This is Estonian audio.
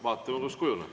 Vaatame, kuidas kujuneb.